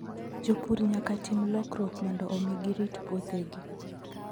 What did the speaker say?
Jopur nyaka tim lokruok mondo omi girit puothegi.